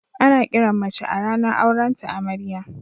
Ana kiran mace a ranan auren ta Amarya.